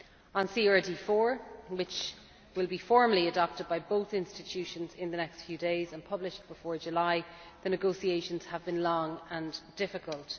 On CRD IV, which will be formally adopted by both institutions in the next few days and published before July, the negotiations have been long and difficult.